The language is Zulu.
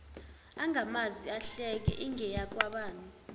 angamazi ahleke ingeyakwabani